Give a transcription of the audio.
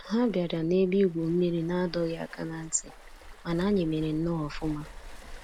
Ha bịara na ebe igwu mmiri nadọghị aka na ntị, mana anyị mere nnọọ ọfụma